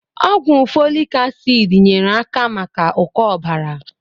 Ọgwụ fọlik asịd nyere aka maka ụkọ ọbara.